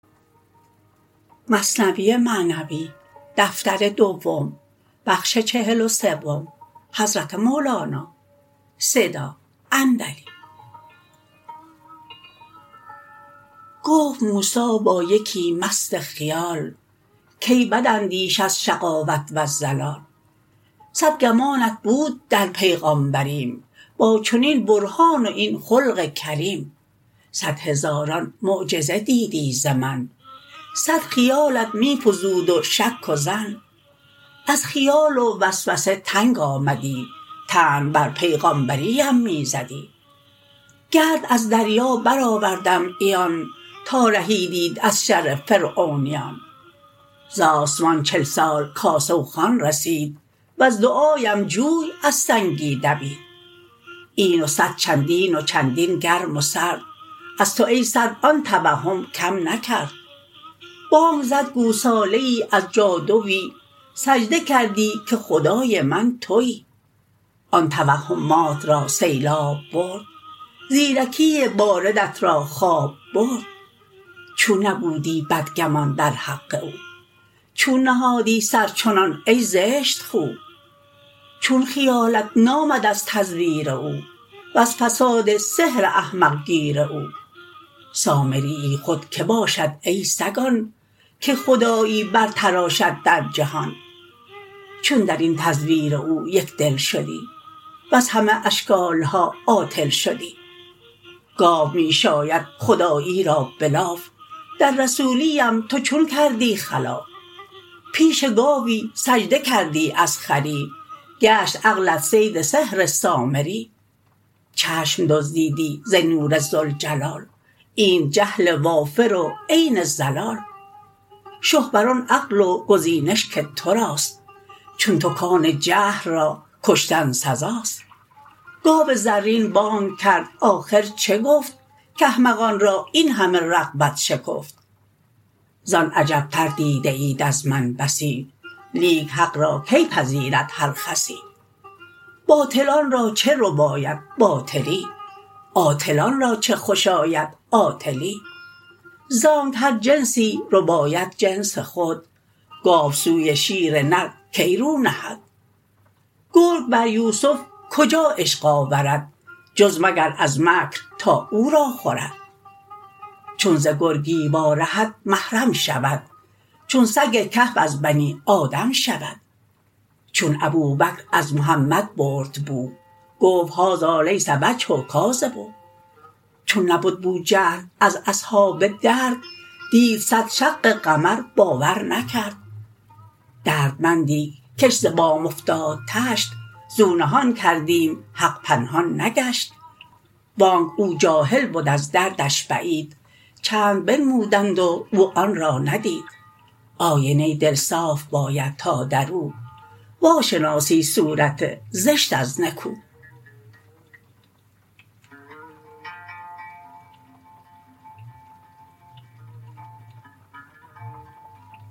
گفت موسی با یکی مست خیال کای بداندیش از شقاوت وز ضلال صد گمانت بود در پیغامبریم با چنین برهان و این خلق کریم صد هزاران معجزه دیدی ز من صد خیالت می فزود و شک و ظن از خیال و وسوسه تنگ آمدی طعن بر پیغامبری ام می زدی گرد از دریا بر آوردم عیان تا رهیدیت از شر فرعونیان ز آسمان چل سال کاسه و خوان رسید وز دعاام جوی از سنگی دوید این و صد چندین و چندین گرم و سرد از تو ای سرد آن توهم کم نکرد بانگ زد گوساله ای از جادوی سجده کردی که خدای من توی آن توهمهات را سیلاب برد زیرکی باردت را خواب برد چون نبودی بدگمان در حق او چون نهادی سر چنان ای زشت خو چون خیالت نامد از تزویر او وز فساد سحر احمق گیر او سامریی خود که باشد ای سگان که خدایی بر تراشد در جهان چون درین تزویر او یک دل شدی وز همه اشکال ها عاطل شدی گاو می شاید خدایی را بلاف در رسولی ام تو چون کردی خلاف پیش گاوی سجده کردی از خری گشت عقلت صید سحر سامری چشم دزدیدی ز نور ذوالجلال اینت جهل وافر و عین ضلال شه بر آن عقل و گزینش که تراست چون تو کان جهل را کشتن سزاست گاو زرین بانگ کرد آخر چه گفت کاحمقان را این همه رغبت شکفت زان عجب تر دیده ایت از من بسی لیک حق را کی پذیرد هر خسی باطلان را چه رباید باطلی عاطلان را چه خوش آید عاطلی زانک هر جنسی رباید جنس خود گاو سوی شیر نر کی رو نهد گرگ بر یوسف کجا عشق آورد جز مگر از مکر تا او را خورد چون ز گرگی وا رهد محرم شود چون سگ کهف از بنی آدم شود چون ابوبکر از محمد برد بو گفت هذا لیس وجه کاذب چون نبد بوجهل از اصحاب درد دید صد شق قمر باور نکرد دردمندی کش ز بام افتاد طشت زو نهان کردیم حق پنهان نگشت وانک او جاهل بد از دردش بعید چند بنمودند و او آن را ندید آینه دل صاف باید تا درو وا شناسی صورت زشت از نکو